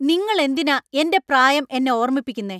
നിങ്ങൾ എന്തിനാ എന്‍റെ പ്രായം എന്നെ ഓർമ്മിപ്പിക്കുന്നേ?